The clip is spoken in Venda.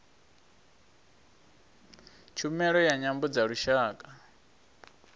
tshumelo ya nyambo dza lushaka